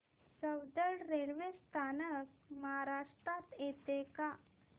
Soundad railway स्थानक महाराष्ट्रात येतं का